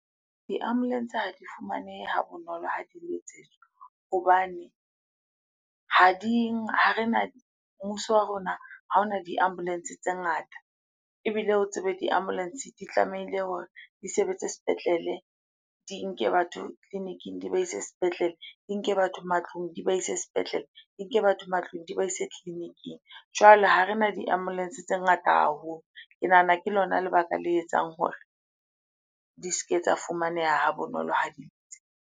Di-ambulance ha di fumanehe ha bonolo ha di letsetswa hobane ha di, ha rena, mmuso wa rona ha ona di-ambulance tse ngata. Ebile o tsebe di-ambulance di tlamehile hore di sebetse sepetlele, di nke batho tleliniking di ba ise sepetlele, di nke batho matlong di ba ise sepetlele, di nke batho matlong, di ba ise tleliniking. Jwale ha rena di-ambulance tse ngata haholo. Ke nahana ke lona lebaka le etsang hore di se ke tsa fumaneha ha bonolo ha di .